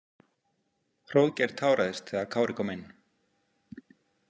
Hróðgeir táraðist þegar Kári kom inn.